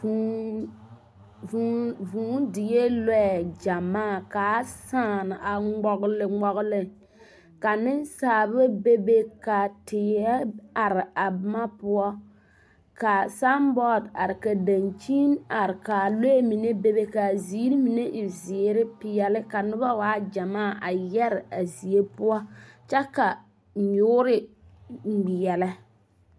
Būū, buu die lɔɛ gyamaa, ka a sᾱᾱ, a ŋmɔgle, ŋmɔgle, ka nensaaba be be ka teɛ are a boma poɔ, ka saŋ bɔɔde are, dankyini are, ka a lɔɛ mine be be, ka a ziiri mine e peɛle, zeere, ka noba waa gyamaa a yɛre a zie poɔ, kyɛ ka nyoore ŋmeɛlɛ.